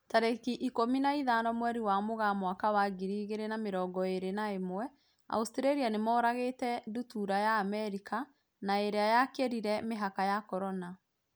Tarĩki ikũmi na ithano mweri wa Mũgaa mwaka wa ngiri igĩrĩ na mĩrongo ĩrĩ na ĩmwe, Australia nĩmoragĩte ndutura ya Amerika na ĩrĩa yakĩrire mĩhaka ya Corona.